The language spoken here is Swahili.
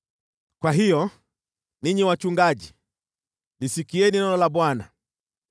“ ‘Kwa hiyo, ninyi wachungaji, lisikieni neno la Bwana :